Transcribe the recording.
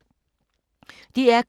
DR K